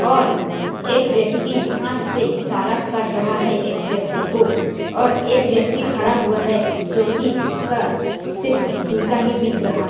और एक व्यक्ती हाथ से इशारा कर रहा है और एक व्यक्ती को और एक व्यक्ती खड़ा हुआ है जोकि उसका सिर्फ जूता ही दिख रहा--